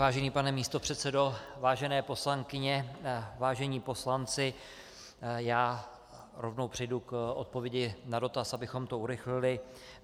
Vážený pane místopředsedo, vážené poslankyně, vážení poslanci, já rovnou přejdu k odpovědi na dotaz, abychom to urychlili.